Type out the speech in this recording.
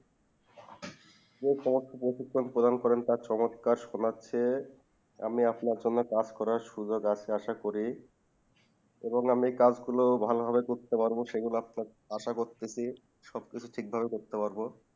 আমি সমস্ত পতিক্রম প্রদান করেন তার সংস্কার শোনাচ্ছে আমি আপনার সঙ্গে কাজকরার সুযোগ আসা করি এবং আমি কাজ গুলো ভালো ভাবে করতে পারবো সে গুলো আসা রাখছি জি সবকিছু ঠিক ভাবে করতে পারবো